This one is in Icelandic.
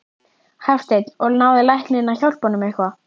Hafsteinn: Og náði læknirinn að hjálpa honum eitthvað?